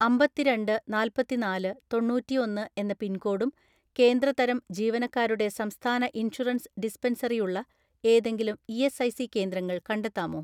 "അമ്പത്തിരണ്ട് നാല്‍പത്തിനാല് തൊണ്ണൂറ്റിഒന്ന് എന്ന പിൻകോഡും കേന്ദ്ര തരം ജീവനക്കാരുടെ സംസ്ഥാന ഇൻഷുറൻസ് ഡിസ്പെൻസറി ഉള്ള ഏതെങ്കിലും ഇ.എസ്.ഐ.സി കേന്ദ്രങ്ങൾ കണ്ടെത്താമോ?"